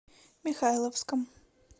михайловском